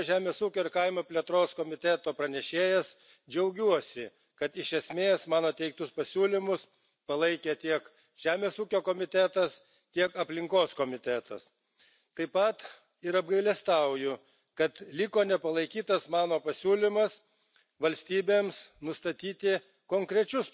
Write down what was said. Kaip atsakingas Žemės ūkio ir kaimo plėtros komiteto pranešėjas džiaugiuosi, kad iš esmės mano teiktus pasiūlymus palaikė tiek Žemės ūkio komitetas, tiek Aplinkos komitetas, taip pat ir apgailestauju, kad liko nepalaikytas mano pasiūlymas valstybėms nustatyti